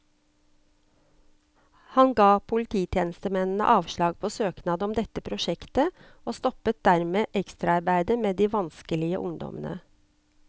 Han ga polititjenestemennene avslag på søknad om dette prosjektet, og stoppet dermed ekstraarbeidet med de vanskelige ungdommene.